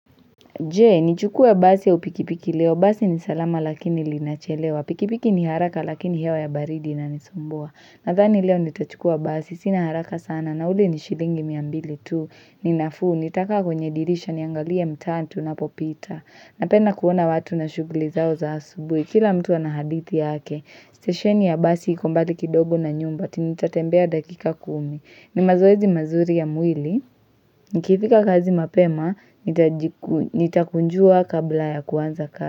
Je, nichukua basi au pikipiki leo. Basi ni salama lakini linachelewa. Pikipiki ni haraka lakini hewa ya baridi ina nisumbua. Nathani leo nitachukua basi. Sina haraka sana. Na ule ni shilingi miambili tu. Ninafuu. Nitakaa kwenye dirisha niangalie mtaa tunapopita. Napenda kuona watu na shughuli zao za asubui. Kila mtu anahadithi yake. Stesheni ya basi ikombali kidogo na nyumba. Tinitatembea dakika kumi. Ni mazoezi mazuri ya mwili. Nikifika kazi mapema, nitakunjua kabla ya kuanza kazi.